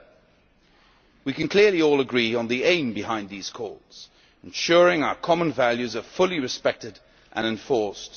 7. We can clearly all agree on the aim behind these calls, ensuring our common values are fully respected and enforced.